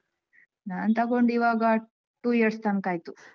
ನಾನ್ ತಗೊಂಡು ಇವಾಗ two years ತನ್ಕ ಆಯ್ತು.